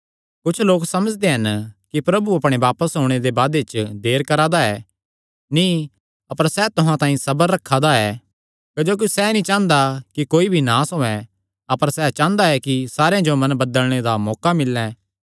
कुच्छ लोक समझदे हन कि प्रभु अपणे बापस ओणे दे वादे च देर करा दा ऐ नीं अपर सैह़ तुहां तांई सबर रखा दा ऐ क्जोकि सैह़ नीं चांह़दा कि कोई भी नास होयैं अपर सैह़ चांह़दा कि सारेयां जो मन बदलणे दा मौका मिल्लैं